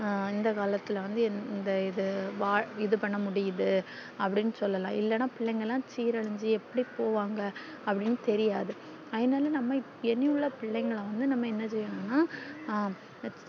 இந்த காலத்துல வந்து இந்த இது வால் இது பண்ண முடியுது அப்டின்னு சொல்லல்லாம் பிள்ளைல்லா சிரளுய்ச்சி எப்டி போவாங்கனு அப்டி தெரியாது அதுனால genuine பிள்ளைகள வந்து நம்ம என்ன சேயன்னுன்னா